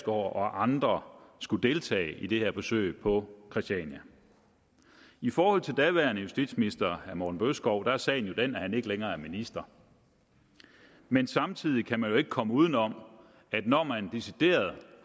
og andre skulle deltage i det her besøg på christiania i forhold til daværende justitsminister herre morten bødskov er sagen jo den at han ikke længere er minister men samtidig kan man ikke komme uden om at når man decideret